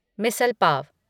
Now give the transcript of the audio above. misal pav